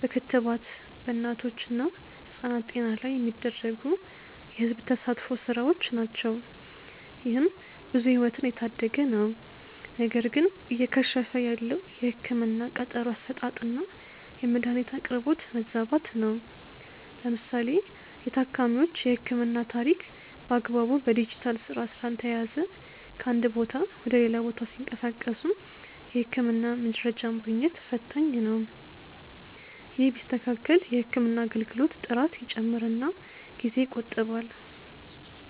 በክትባት በእናቶች እና ህጻናት ጤና ላይ የሚደረጉ የህዝብ ተሳትፎ ስራዎች ናቸው። ይህም ብዙ ህይወትን እየታደገ ነው። ነገር ግን እየከሸፈ ያለው የህክምና ቀጠሮ አሰጣጥና የመድኃኒት አቅርቦት መዛባት ነው። ለምሳሌ የታካሚዎች የህክምና ታሪክ በአግባቡ በዲጂታል ስርዓት ስላልተያያዘ ከአንድ ቦታ ወደ ሌላ ቦታ ሲንቀሳቀሱ የህክምና መረጃ ማግኘት ፈታኝ ነው። ይህ ቢስተካከል የህክምና አገልግሎት ጥራት ይጨምርና ጊዜ ይቆጥባል።